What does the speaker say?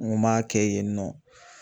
N ko m'a kɛ yen nɔ